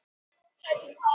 Er klósettið hér uppi?